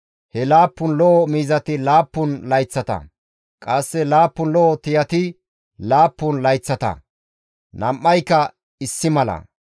He laappun lo7o miizati laappun layththata; qasse laappun lo7o tiyati laappun layththata; nam7ayka issi mala.